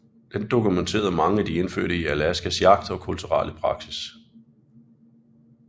Den dokumenterede mange af de indfødte i Alaskas jagt og kulturelle praksis